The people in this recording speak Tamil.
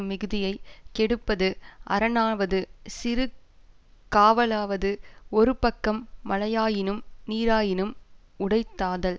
மிகுதியை கெடுப்பது அரணாவது சிறு காவலாவது ஒருபக்கம் மலையாயினும் நீராயினும் உடைத்தாதல்